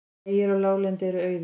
Vegir á láglendi eru auðir